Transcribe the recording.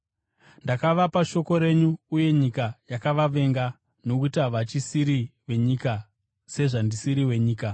Ndakavapa shoko renyu uye nyika yakavavenga, nokuti havachisiri venyika sezvandisiri wenyika.